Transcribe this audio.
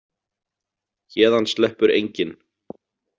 Héðan sleppur enginn.